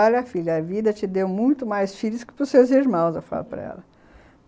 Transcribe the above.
Olha, filha, a vida te deu muito mais filhos que pros seus irmãos, eu falo para ela.